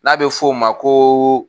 N'a bɛ fɔ o ma ko